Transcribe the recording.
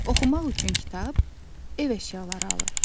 Oxumaq üçün kitab, ev əşyaları alır.